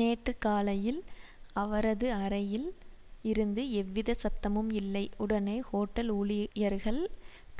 நேற்று காலையில் அவ்ரது அறையில் இருந்து எவ்வித சத்தமும் இல்லைஉடனே ஓட்டல் ஊழியர்கள்